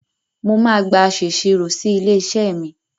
Mo máa gba aṣèṣirò si ilé-iṣẹ́ mi.